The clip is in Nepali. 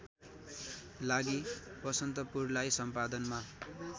लागि बसन्तपुरलाई सम्पादनमा